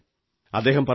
അദ്ദേഹം പറഞ്ഞു